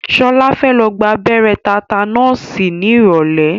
Ṣọlá fẹ́ lọ gba abẹ́rẹ́ tátánọ́ọ̀sì ní ìrọ̀lẹ́.